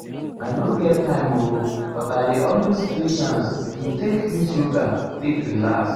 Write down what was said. i nor get time oo but i det also create chance to take use yoga take relax.